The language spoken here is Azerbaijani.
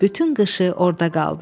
Bütün qışı orada qaldı.